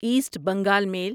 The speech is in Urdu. ایسٹ بنگال میل